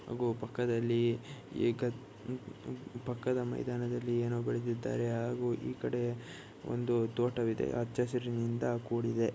ಆಗು ಪಕ್ಕದಲ್ಲಿ ಏಕ ಪಕ್ಕದ ಮೈದಾನದಲ್ಲಿ ಏನೋ ಬೆಳೆದಿದ್ದಾರೆ ಹಾಗೂ ಈಕಡೆ ಒಂದು ತೋಟವಿದೆ. ಹಚ್ಚಹಸಿರಿನಿಂದ ಕೂಡಿದೆ.